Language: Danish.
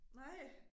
Nej